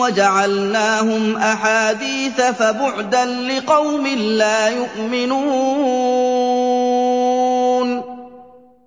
وَجَعَلْنَاهُمْ أَحَادِيثَ ۚ فَبُعْدًا لِّقَوْمٍ لَّا يُؤْمِنُونَ